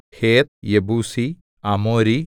ഹേത്ത് യെബൂസി അമോരി